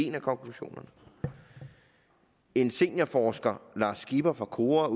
en af konklusionerne en seniorforsker lars skipper fra kora